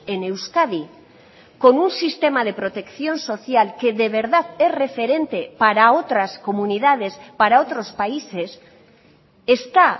en euskadi con un sistema de protección social que de verdad es referente para otras comunidades para otros países está